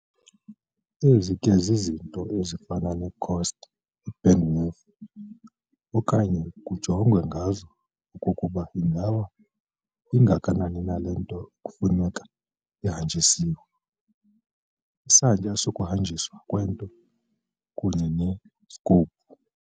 Ezi ke zizinto ezifana ne-cost, i-bandwidth okanye kujongwe ngazo okokuba ingaba ingakanani na le nto kufuneka ihanjisiwe, Isantya sokuhanjiswa kwento kunye ne-scope.